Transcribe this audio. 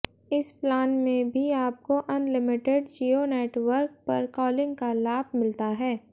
इस प्लान में भी आपको अनलिमिटेड जियो नेटवर्क पर कॉलिंग का लाभ मिलता है